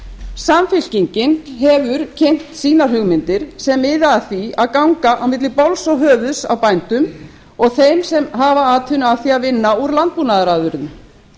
samfylkingin hefur kynnt sínar hugmyndir sem miða að því að ganga á milli bols og höfuðs á bændum og þeim sem hafa atvinnu af því að vinna úr landbúnaðarafurðum